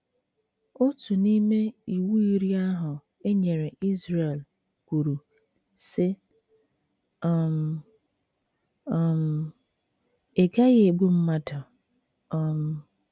Otu n’ime Iwu Iri ahụ e nyere Izrel kwuru, sị: um “ um Ị Gaghi egbu mmadụ um. ”